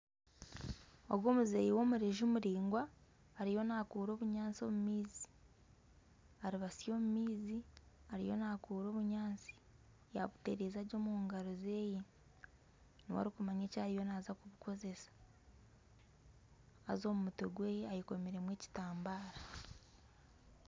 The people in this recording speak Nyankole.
Ogu omuzeyi w'omurezu muraingwa ariyo nakuura obunyaatsi omu maizi, aribasi omu maizi ariyo nakuura obunyaatsi yabutereza gye omu ngaro zeye niwe arikumanya eki ariyo naaza kubukoresa haaza omu mutwe gweye eyekomiremu ekitambara.